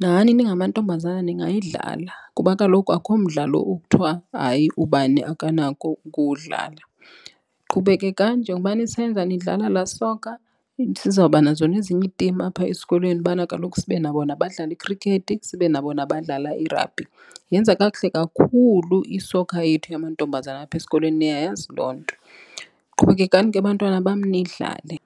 nani ningamantombazana ningayidlala kuba kaloku akho mdlalo okuthiwa hayi ubani akanako ukuwudlala. Qhubekekani njengokuba nisenza nidlala laa soccer sizawubanazo nezinye iitimu apha esikolweni ubana kaloku sibe nabo nabadlala ikhrikhethi, sibe nabo nabadlala i-rugby. Yenza kakuhle kakhulu i-soccer yethu yamantombazana apha esikolweni niyayazi loo nto. Qhubekekani ke, bantwana bam, nidlale.